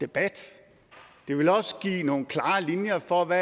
debat det vil også give nogle klarere linjer for hvad